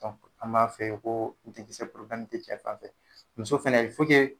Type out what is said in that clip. an b'a f'e ye koo den kisɛ te cɛ fanfɛ. Muso fɛnɛ